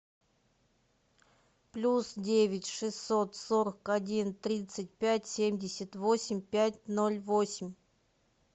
плюс девять шестьсот сорок один тридцать пять семьдесят восемь пять ноль восемь